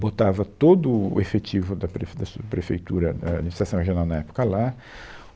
Botava todo o efetivo da Prefe, da subprefeitura, ah, Administração Regional na época lá.